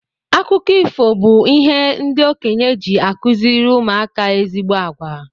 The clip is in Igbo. Akụkọ ifo bu ihe ndị okenye ji akuziri ụmụ aka ezigbo àgwà.